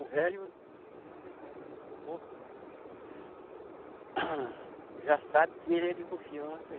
O velho é um bom. Já sabe que ele é de confiança.